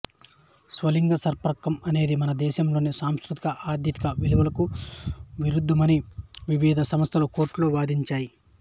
స్వలింగ సంపర్కం అనేది మన దేశంలోని సాంస్కృతిక ఆధ్యాత్మిక విలువలకు విరుద్ధమని వివిధ సంస్థలు కోర్టులో వాదించాయి